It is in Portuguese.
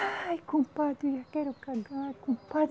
Ai, compadre, eu quero cagar, compadre